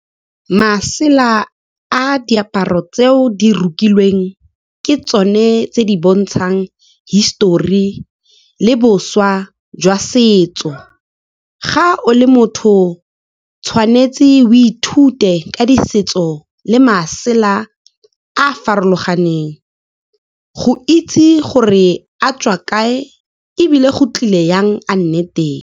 Masela a diaparo tseo di rokilweng, ke tsone tse di bontshang hisitori le boswa jwa setso. Ga o le motho, tshwanetse o ithute ka di setso le masela a a farologaneng, go itse gore a tswa kae, ebile go tlile jang a nne teng.